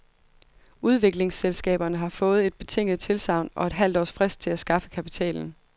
Udviklingsselskaberne har fået et betinget tilsagn og et halvt års frist til at skaffe kapitalen.